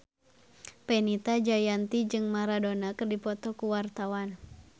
Fenita Jayanti jeung Maradona keur dipoto ku wartawan